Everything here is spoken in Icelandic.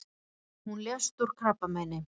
Hún lést úr krabbameini.